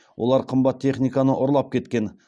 олар қымбат техниканы ұрлап кеткен